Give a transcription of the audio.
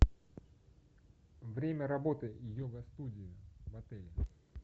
время работы йога студии в отеле